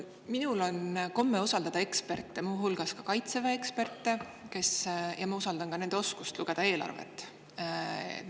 Minul on komme usaldada eksperte, muu hulgas Kaitseväe eksperte, ja ma usaldan ka nende oskust lugeda eelarvet.